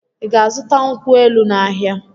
Ị ga-azụta nkwụ elụ n'ahịa?